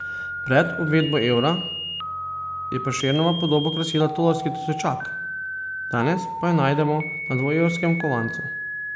Pred uvedbo evra je Prešernova podoba krasila tolarski tisočak, danes pa jo najdemo na dvoevrskem kovancu.